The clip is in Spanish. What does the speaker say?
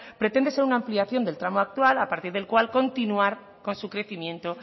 pretende ser una ampliación del tramo actual a partir del cual continuar con su crecimiento